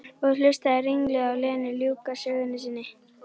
Og hlustaði ringluð á Lenu ljúka sögu sinni.